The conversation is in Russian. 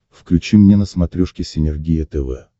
включи мне на смотрешке синергия тв